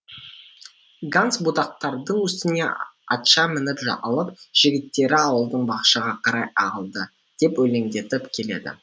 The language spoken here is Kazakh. ганс бұтақтардың үстіне атша мініп алып жігіттері ауылдың бақшаға қарай ағылды деп өлеңдетіп келеді